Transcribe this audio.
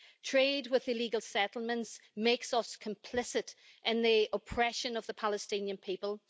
Trade with illegal settlements makes us complicit in the oppression of the Palestinian people.